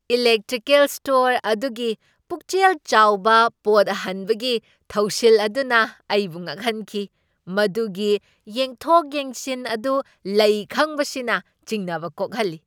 Electrical store ꯑꯗꯨꯒꯤ ꯄꯨꯛꯆꯦꯜ ꯆꯥꯎꯕ ꯄꯣꯠ ꯍꯟꯕꯒꯤ ꯊꯧꯁꯤꯜ ꯑꯗꯨꯅ ꯑꯩꯕꯨ ꯉꯛꯍꯟꯈꯤ, ꯃꯗꯨꯒꯤ ꯌꯦꯡꯊꯣꯛ ꯌꯦꯡꯖꯤꯟ ꯑꯗꯨ ꯂꯩ ꯈꯪꯕꯁꯤꯅ ꯆꯤꯡꯅꯕ ꯀꯣꯛꯍꯜꯂꯤ꯫